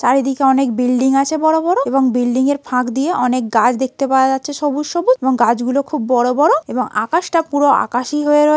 চারিদিকে অনেক বিল্ডিং আছে বড় বড় এবং বিল্ডিং -এর ফাঁক দিয়ে অনেক গাছ দেখতে পাওয়া যাচ্ছে সবুজ সবুজ এবং গাছগুলো খুব বড় বড় এবং আকাশটা পুরো আকাশী হয়ে রয়--